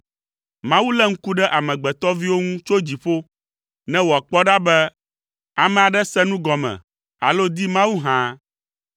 Mawu lé ŋku ɖe amegbetɔviwo ŋu tso dziƒo, ne wòakpɔe ɖa be ame aɖe se nu gɔme alo di Mawu hã.